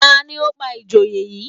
Ta ni ó pa ìjòyè yìí